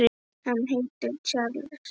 Hann heitir Charles